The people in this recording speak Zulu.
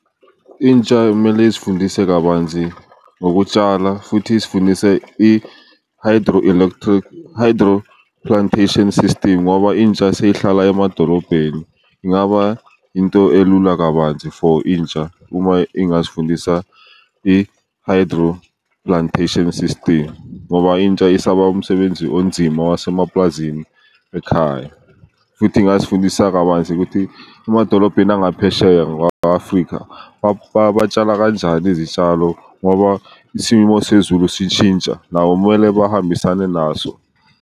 Intsha mele izifundise kabanzi ngokutshala futhi izifundise i-hydro plantation system ngoba intsha seyihlala emadolobheni, ingaba into elula kabanzi for intsha uma ingazifundisa i-hydro plantation system ngoba intsha isaba umsebenzi onzima wasemaplazini ekhaya. Futhi ingazifundisa kabanzi ukuthi emadolobheni angaphesheya Afrika batshala kanjani izitshalo, ngoba isimo sezulu sishintsha nabo kumele bahambisane naso.